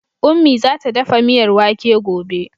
Ummi za ta dafa miyar wake gobe.